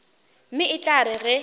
mme e tla re ge